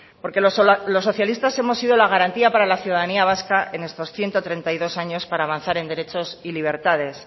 porque los socialistas hemos sido la garantía para la ciudadanía vasca en estos ciento treinta y dos años para avanzar en derechos y libertades